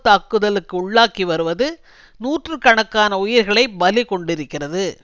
தாக்குதலுக்கு உள்ளாக்கி வருவது நூற்று கணக்கான உயிர்களை பலி கொண்டிருக்கிறது